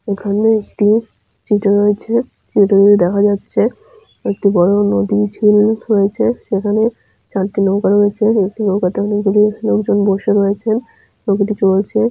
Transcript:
এখানে একটি চিত্র রয়েছে। চিত্রটিতে দেখ যাচ্ছে একটি বড়ো নদীর ঝিল রয়েছে। এখানে চারটি নৌকা রয়েছে। একটি নৌকাতে অনেক গুলি লোকজন বসে রয়েছে। নৌকাটি চলছে।